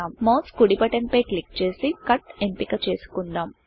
mouse కుడి button click చేసి Cutకట్ఎంపిక చేసుకుందామ్